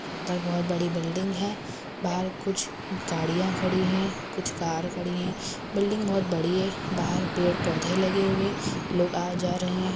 अंदर बहुत बड़ी बिल्डिंग है बाहर कुछ गाड़िया खड़ी है कुछ कार खड़ी है बिल्डिंग बहुत बड़ी है बाहर पेड़ पौधे लगे हुए लोग आ जा रहे है।